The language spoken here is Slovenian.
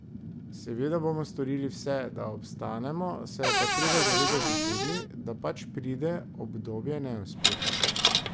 Seveda bomo storili vse, da obstanemo, se je pa treba zavedati tudi, da pač pride obdobje neuspehov.